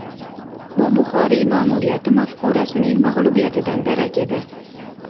Bu Buxoriy ma’muriyati mafkurasining mag‘lubiyatidan darak edi.